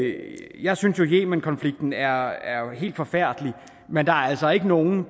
jeg synes at yemenkonflikten er helt forfærdelig men der er altså ikke nogen